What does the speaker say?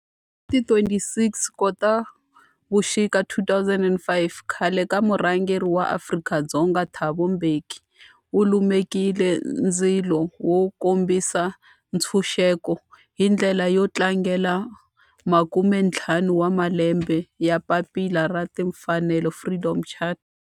Hi ti 26 Khotavuxika 2005 khale ka murhangeri wa Afrika-Dzonga Thabo Mbeki u lumekile ndzilo wo kombisa ntshuxeko, hi ndlela yo tlangela makumentlhanu wa malembe ya papila ra timfanelo, Freedom Charter.